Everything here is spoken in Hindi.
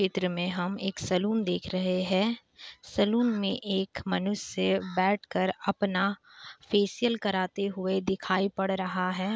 चित्र में हम एक सलून देख रहे है। सलून में एक मनुष्य बैठकर अपना फेसिअल कराते हुए दिखाई पड़ रहा है।